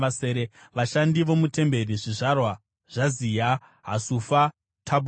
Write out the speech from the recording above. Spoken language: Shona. Vashandi vomutemberi: zvizvarwa zvaZiha, Hasufa, Tabhoati,